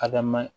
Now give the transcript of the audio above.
Adama